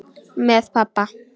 Með pabba.